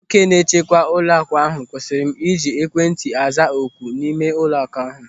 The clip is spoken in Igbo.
Nwoke na-echekwa ụlọaku ahụ kwụsịrị m ịji ekwentị aza oku n'ime ụlọaku ahụ.